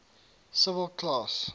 civil class